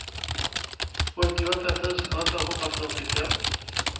åttioåtta tusen åttahundrafyrtiofem